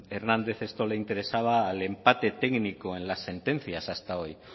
hernández esto le interesaba al empate técnico en las sentencias hasta hoy